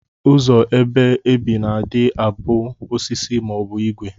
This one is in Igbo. Ụzọ ebe ebi na adi abu osisi ma obu igwe.